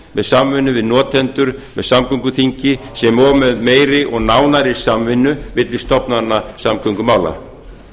með samvinnu við notendur með samgönguþingi sem og með meiri og nánari samvinnu milli stofnana samgöngumála